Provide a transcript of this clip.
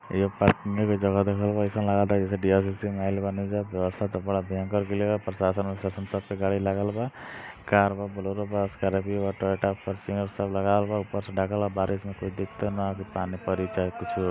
यह पार्किंग की जगह राखल बा ऐसन लागत जैसे आएल बानी जा | बेवस्था ता बड़ा भयंकर कैलह प्रशाशन वार्शाशन सब के गाड़ी लागल बा कार बा बोलोरो बा स्कार्पिओ बाटे टोयोटा फोरटूनेर सब लगावल बा ऊपर से ढकाल बा बारिश में कोई दिकतों न की पानी पड़ी चाहे कुछु हो |